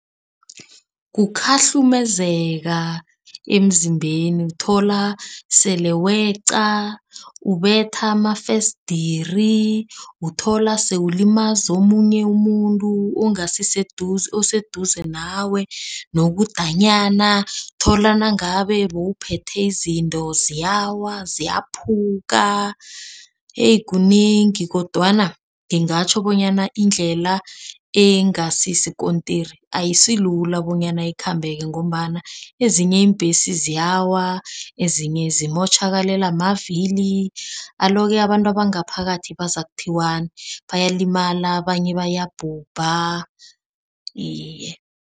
Kukhahlumezeka emzimbeni, uthola sele wayeqa, ubetha amafesidiri, uthola sewulimaza omunye umuntu oseduze nawe nokudanyana. Thola nangabe buphethe izinto ziyawa, ziyaphuka eyi kunengi kodwana ngingatjho bonyana indlela engasi isikontiri ayisilula bonyana ekhambeka ngombana ezinye iimbhesi ziyawa ezinye zimotjhakalelwa mavili. Alo-ke abantu abangaphakathi bazokuthiwani, bayalimala abanye bayabhubha iye.